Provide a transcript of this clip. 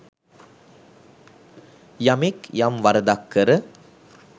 යමෙක් යම් වරදක් කර